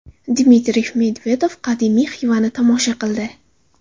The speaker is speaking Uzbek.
Dmitriy Medvedev qadimiy Xivani tomosha qildi .